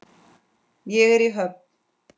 Ég er í höfn.